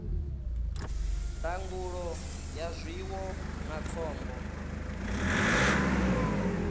ndangulo ya zwiwo na khombo